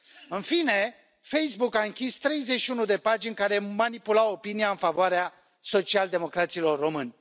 În fine, Facebook a închis 31 de pagini care manipulau opinia în favoarea social-democraților români.